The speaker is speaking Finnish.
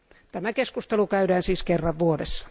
Tämä keskustelu käydään siis kerran vuodessa.